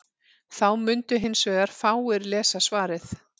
þá mundu hins vegar fáir lesa svarið